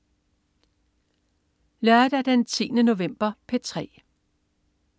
Lørdag den 10. november - P3: